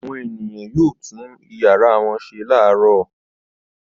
Àwọn ènìyàn yóò tún ìyàrá wọn ṣe láàárọ̀.